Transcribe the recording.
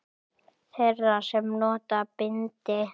Þeirra sem nota bindi?